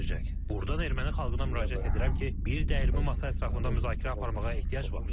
Buradan erməni xalqına müraciət edirəm ki, bir dəyirmi masa ətrafında müzakirə aparmağa ehtiyac var.